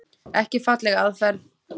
Ekki falleg aðferð.